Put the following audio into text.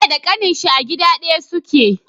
Bello da kanin shi a gida daya suke